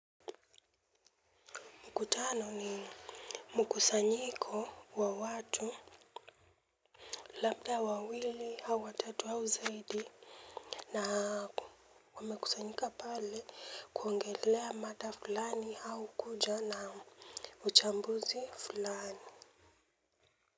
Mkutano ni mkusanyiko wa watu labda wawili au watatu au zaidi na wamekusanyika pale kuongelea mada fulani au kuja na uchambuzi fulani.